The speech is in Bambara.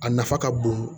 A nafa ka bon